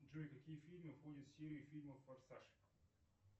джой какие фильмы входят в серию фильмов форсаж